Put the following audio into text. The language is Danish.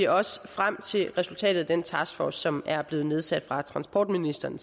også frem til resultatet af den taskforce som er blevet nedsat af transportministeren